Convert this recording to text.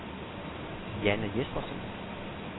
Janne Jespersen